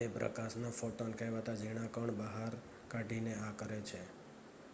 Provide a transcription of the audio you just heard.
"તે પ્રકાશના "ફોટોન" કહેવાતા ઝીણા કણ બહાર કાઢીને આ કરે છે.